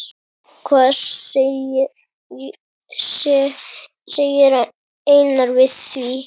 Hvað segir Einar við því?